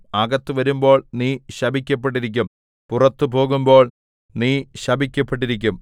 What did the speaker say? അകത്ത് വരുമ്പോൾ നീ ശപിക്കപ്പെട്ടിരിക്കും പുറത്തു പോകുമ്പോൾ നീ ശപിക്കപ്പെട്ടിരിക്കും